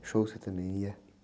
Show você também ia?